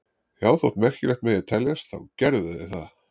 Já, þótt merkilegt megi teljast þá gerðu þeir það.